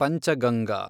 Panchganga